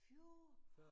40 år?